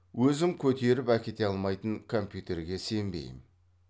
өзім көтеріп әкете алмайтын компьютерге сенбеймін